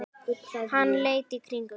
Hann leit í kringum sig.